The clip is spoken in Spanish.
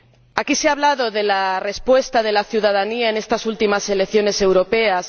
Aquí se ha hablado de la respuesta de la ciudadanía en estas últimas elecciones europeas